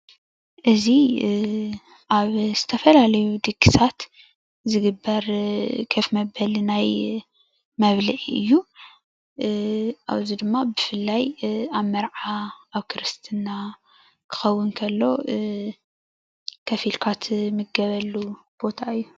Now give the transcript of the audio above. እዚ ኣብ ዝተፈላለዩ ድግሳት ዝግበር ከፍ መበሊ ናይ መብልዒ እዩ፡፡ እዚ ድማ ብፍላይ ኣብ መርዓ ፣ ኣብ ክርስትና ክኸውን እንከሎ ከፍ ኢልካ ትምገበሉ ቦታ እዩ፡፡